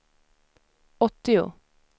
åttio